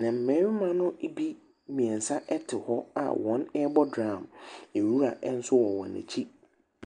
Na mmarima ne bi mmiɛnsa ɛte hɔ a wɔn ɛbɔ dram. Nwura nso ɛwɔ wɔn akyi.